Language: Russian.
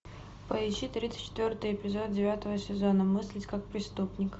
поищи тридцать четвертый эпизод девятого сезона мыслить как преступник